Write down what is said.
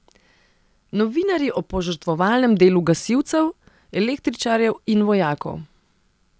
Novinarji o požrtvovalnem delu gasilcev, električarjev in vojakov.